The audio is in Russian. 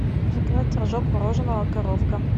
заказать рожок мороженого коровка